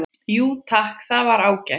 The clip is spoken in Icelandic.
Jú takk, það var ágætt